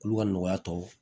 K'olu ka nɔgɔya tɔw